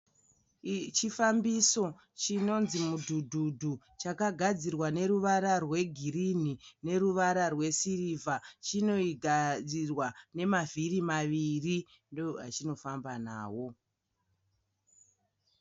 Chifambiso chinonzi mudhudhudhu chakagadzirwa neruvara rwegirini neruvara rwesirivha chinogadzirwa nemavhiri maviri ndoachino famba nawo.